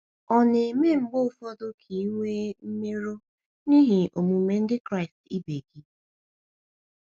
Ọ̀ na - eme mgbe ụfọdụ ka i nwee mmerụ um n’ihi omume ndị Kraịst ibe gị?